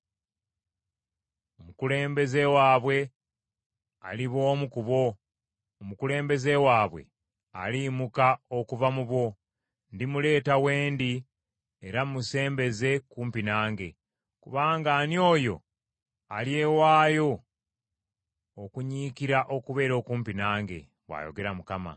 Omukulembeze waabwe aliba omu ku bo; omukulembeze waabwe aliyimuka okuva mu bo. Ndimuleeta wendi era musembeze kumpi nange, kubanga ani oyo alyewaayo okunyiikira okubeera okumpi nange?’ bw’ayogera Mukama .